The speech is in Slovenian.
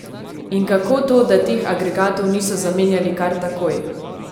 In kako to, da teh agregatov niso zamenjali kar takoj?